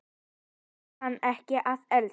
Hún kann ekki að elda.